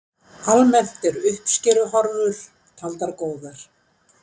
Almennt eru uppskeruhorfur taldar góðar